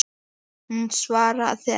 Hún svaraði ekki.